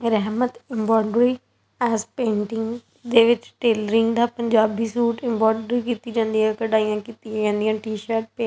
ਰਹਿਮਤ embroidery ਐਸ painting ਦੇ ਵਿੱਚ ਟੇਲਰਿੰਗ ਦਾ ਪੰਜਾਬੀ ਸੂਟ ਐਮਬੋਂਡਰੀ ਕੀਤੀ ਜਾਂਦੀ ਏ ਕਢਾਈਆਂ ਕੀਤੀਆਂ ਜਾਂਦੀਆਂ ਨ ਟੀ ਸ਼ਰਟ ਤੇ--